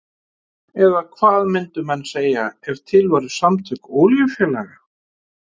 Eða hvað myndu menn segja ef til væru samtök olíufélaga?